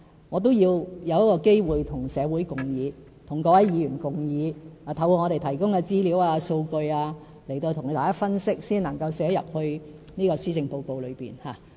我也要找機會與社會及各位議員共議，透過政府提供的資料、數據，向大家分析，然後才能寫在施政報告中。